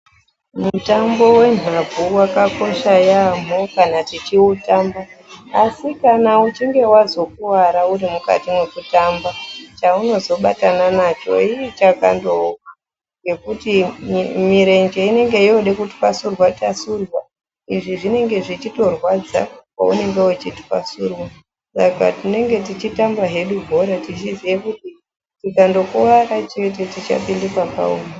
Mutambo wenhabvu wakakosha yaamho kana tichiutamba asi kana uchinge wazokuara uri mukati mwekutamba chaunozobatana nacho iii chakandooma, ngekuti mirenje inenge yode kutwasurwa twasurwa izvi zvinenge zvechitorwadza paunenge uchitwasurwa saka tinenge tichitamba hedu bhora tichiziye kuti tikandokuwara chete tichapinde pakaoma.